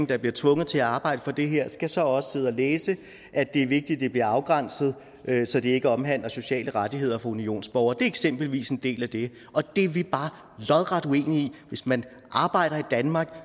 der bliver tvunget til at arbejde for det her skal så også sidde og læse at det er vigtigt det bliver afgrænset så det ikke omhandler sociale rettigheder for unionsborgere det er eksempelvis en del af det og det er vi bare lodret uenige i hvis man arbejder i danmark